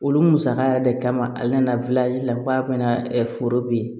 Olu musaka yɛrɛ de kama a nana la f'a bɛna foro bo yen